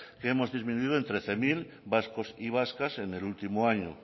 que hemos disminuido en trece mil vascos y vascas en el último año